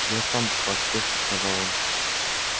я сам поспешно сказал он